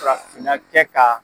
Farafinna kɛ ka